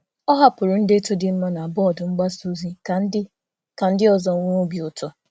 Ọ hapụrụ akwụkwọ ozi dị mma na bọọdụ ozi ka ndị ọzọ nwee obi ụtọ.